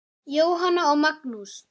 Jóhanna og Magnús.